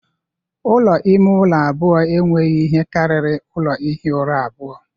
Ụlọ ime ụlọ abụọ enweghị ihe karịrị ụlọ ihi ụra abụọ